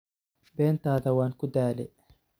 Bentadha wankudhale.